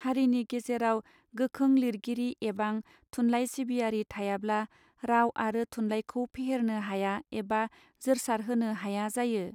हारिनि गेजेराव गोखों लिरगिरि एबां थुनलाइ सिबियारि थायाब्ला राव आरो थुनलायखौ फेहेरनो हाया एबा जोरसार होनो हाया जायो.